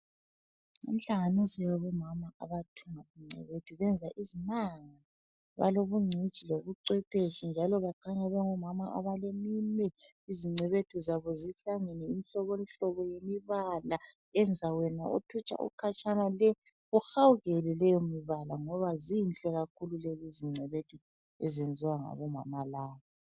Inhlanganiso yabomama abathunga ingcebethu benza izimanga balobungcitshi lobucwephetshi njalo bakhanya bengabomama abaleminwe. Izingcebethu zabo zihlangene imihlobohlobo yemibala enza wena othutsha ukhatshana le uhawukele leyomibala ngoba zinhle kakhulu lezi zingcebethu ezenziwa ngabomama laba.